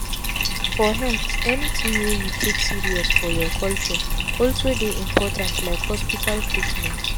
for healthanything wey you take serious for your culture also dey important like hospital treatment.